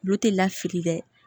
Tulo tɛ lafili dɛ